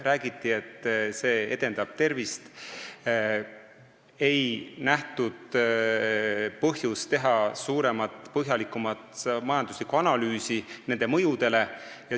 Räägiti, et see edendab tervist, kuid ei nähtud põhjust teha suuremat, põhjalikumat majanduslikku analüüsi nende mõjude kohta.